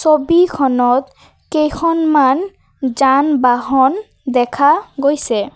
ছবিখনত কেইখনমান যান বাহন দেখা গৈছে।